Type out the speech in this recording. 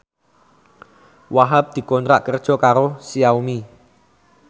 Wahhab dikontrak kerja karo Xiaomi